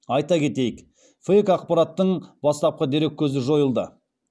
айта кетейік фейк ақпараттың бастапқы дереккөзі жойылды